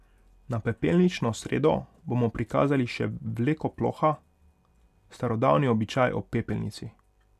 Na pepelnično sredo bomo prikazali še vleko ploha, starodavni običaj ob pepelnici.